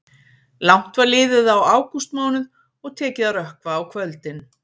Langt var liðið á ágústmánuð og tekið að rökkva á kvöldin.